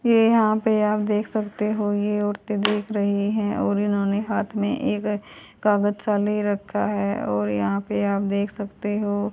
ये यहां पे आप देख सकते हो ये औरतें देख रही है और इन्होंने हाथ में एक कागज सा ले रखा है और यहां पे आप देख सकते हो।